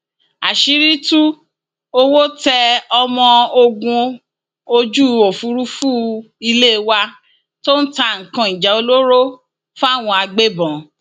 àṣírí tú owó tẹ ọmọ ogun ojú òfúrufú ilé wa tó ń ta nǹkan ìjà olóró fáwọn agbébọn